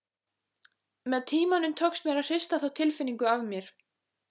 Með tímanum tókst mér að hrista þá tilfinningu af mér.